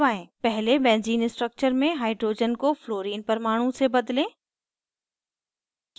पहले benzene structure में hydrogen को fluorine fluorine परमाणु से बदलें